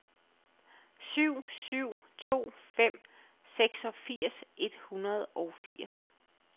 syv syv to fem seksogfirs et hundrede og firs